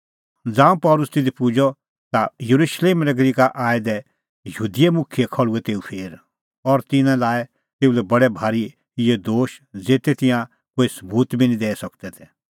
ज़ांऊं पल़सी तिधी पुजअ ता येरुशलेम नगरी का आऐ दै यहूदी मुखियै खल़्हुऐ तेऊ फेर और तिन्नैं लाऐ तेऊ लै बडै भारी इहै दोश ज़ेते तिंयां कोई सबूत बी निं दैई सकदै तै